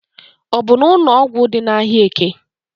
Ọbụ n'ụnọgwụ dị n'ahịa eke.